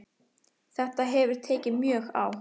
Þetta hefur tekið mjög á